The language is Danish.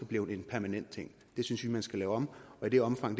blevet en permanent ting det synes vi at man skal lave om og i det omfang